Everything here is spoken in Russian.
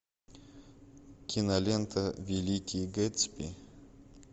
кинолента великий гэтсби